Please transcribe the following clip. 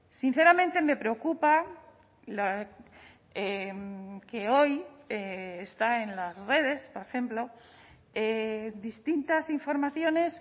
sinceramente me preocupa que hoy está en las redes por ejemplo distintas informaciones